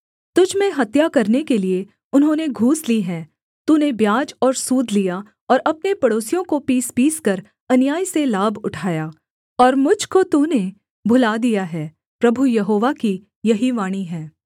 तुझ में हत्या करने के लिये उन्होंने घूस ली है तूने ब्याज और सूद लिया और अपने पड़ोसियों को पीसपीसकर अन्याय से लाभ उठाया और मुझ को तूने भुला दिया है प्रभु यहोवा की यही वाणी है